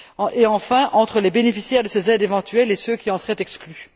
et enfin, entre les bénéficiaires de ces aides éventuelles et ceux qui en seraient exclus.